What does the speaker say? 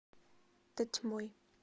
тотьмой